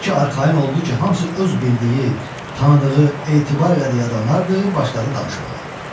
Elə ki, arxayın oldu ki, hamısı öz bildiyi, tanıdığı, etibar elədiyi adamlardır, başladı danışmağa.